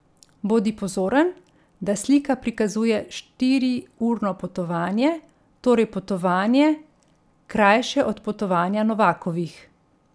Bodi pozoren, da slika prikazuje štiriurno potovanje, torej potovanje, krajše od potovanja Novakovih.